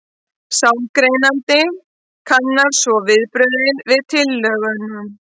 Sálgreinandinn kannar svo viðbrögðin við tillögunum.